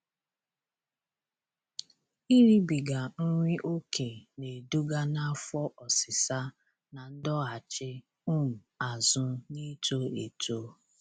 Ịribiga nri okè na-eduga n'afọ ọsịsa na ndọghachị um azụ n'ito eto